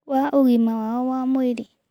Wa ũgima wao wa mwĩrĩ